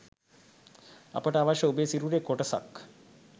අපට අවශ්‍ය ඔබේ සිරුරේ කොටසක්